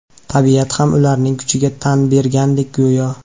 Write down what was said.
Tabiat ham ularning kuchiga tan bergandek go‘yo.